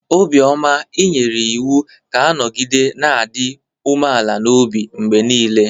Obioma i nyere iwu ka ọ nọgide na-adị umeala n'obi mgbe niile!